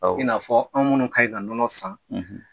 I n'a fɔ anw minnu ka ɲi ka nɔnɔ san